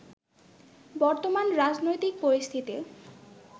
বর্তমান রাজনৈতিক পরিস্থিতি